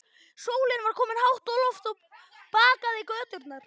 Sólin var komin hátt á loft og bakaði göturnar.